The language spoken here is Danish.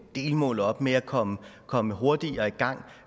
delmål op med at komme komme hurtigere i gang